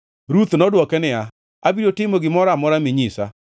Ruth nodwoke niya, “Abiro timo gimoro amora minyisa.”